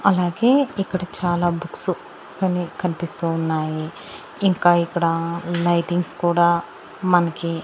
అలాగే ఇక్కడ చాలా బుక్స్ అనే కనిపిస్తూ ఉన్నాయి ఇంకా ఇక్కడ లైటింగ్స్ కూడా మనకి.